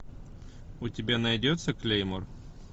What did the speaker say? у тебя найдется клеймор